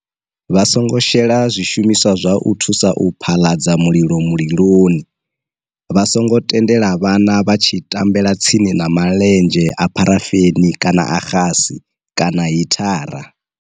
Vha songo shela zwishumiswa zwa u thusa u phaḽaladza mulilo muliloni. Vha songo tendela vhana vha tshi tambela tsini na maḽenzhe a pharafeni kana a xasi kana hithara.